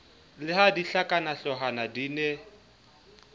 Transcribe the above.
le ha dihlakanahloohwana di ne